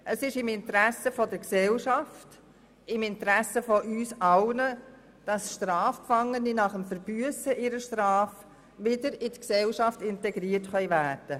Es ist im Interesse der Gesellschaft, im Interesse von uns allen, dass Strafgefangene nach dem Verbüssen ihrer Strafe wieder in die Gesellschaft integriert werden können.